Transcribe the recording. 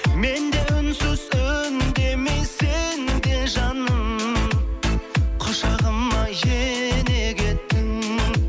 мен де үнсіз үндемей сен де жаным құшағыма ене кеттің